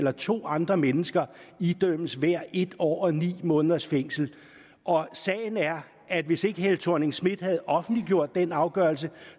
at to andre mennesker idømmes hver en år og ni måneders fængsel sagen er at hvis ikke helle thorning schmidt havde offentliggjort den afgørelse